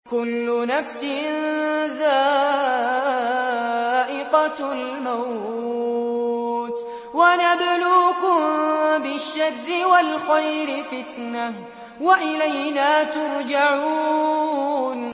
كُلُّ نَفْسٍ ذَائِقَةُ الْمَوْتِ ۗ وَنَبْلُوكُم بِالشَّرِّ وَالْخَيْرِ فِتْنَةً ۖ وَإِلَيْنَا تُرْجَعُونَ